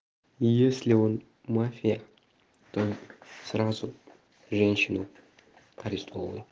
если он мафия только сразу женщину арестовываю